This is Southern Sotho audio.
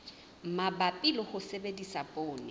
mabapi le ho sebedisa poone